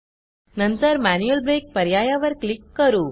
नंतर manual break पर्यायावर click करू